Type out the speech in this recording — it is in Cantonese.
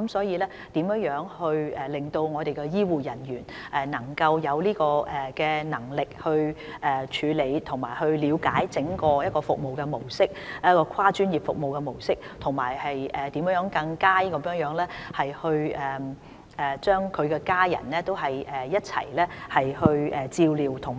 因此，如何令醫護人員有能力去處理，以及了解整個跨專業的服務模式，以及如何更好地一併照顧病人及家屬，同時讓病人的家屬協助病人渡